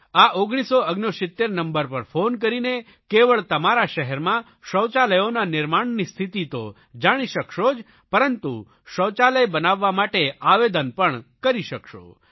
આ 1969 નંબર પર ફોન કરીને કેવળ તમારા શહેરમાં શૌચાલયોના નિર્માણની સ્થિતિ તો જાણી શકશો જ પરંતુ શૌચાલય બનાવવા માટે આવેદન પણ કરી શકશો